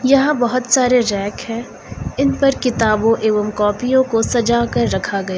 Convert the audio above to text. यहां बहोत सारे रैक है इन पर किताबों एवं कॉपियों को सजा कर रखा गया--